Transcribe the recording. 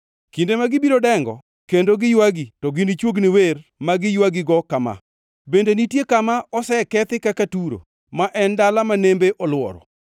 Kinde ma gibiro dengo kendo giywagi to ginichuogni wer ma giywagigo kama: “Bende nitie kama osekethi kaka Turo ma en dala ma nembe olworo?”